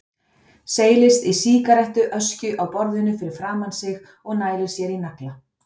Seilist í sígarettu öskjuna á borðinu fyrir framan sig og nælir sér í nagla.